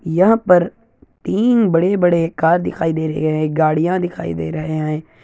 यहाँ पर तीन बड़े-बड़े कार दिखाई दे रहे है गाड़िया दिखाई दे रहे है।